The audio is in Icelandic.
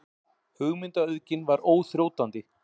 Hugmyndaauðgin var óþrjótandi.